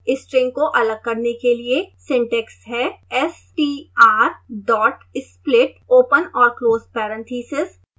string को अलग करने के लिए सिंटैक्स है str dot split open और close parentheses